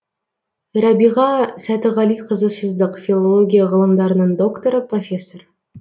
рәбиға сәтіғалиқызы сыздық филология ғылымдарының докторы профессор